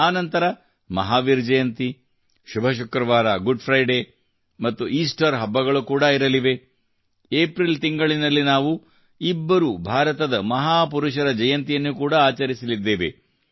ಆ ನಂತರ ಮಹಾವೀರ ಜಯಂತಿ ಶುಭ ಶುಕ್ರವಾರ ಗುಡ್ ಫ್ರೈಡೇ ಮತ್ತು ಈಸ್ಟರ್ ಹಬ್ಬಗಳು ಕೂಡಾ ಇರಲಿವೆ ಏಪ್ರಿಲ್ ತಿಂಗಳಿನಲ್ಲಿ ನಾವು ಇಬ್ಬರು ಭಾರತದ ಮಹಾಪುರುಷರ ಜಯಂತಿಯನ್ನು ಕೂಡಾ ಆಚರಿಸಲಿದ್ದೇವೆ